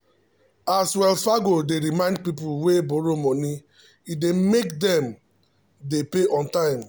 as wells fargo dey dey remind people wey borrow money e dey make them dey pay on time.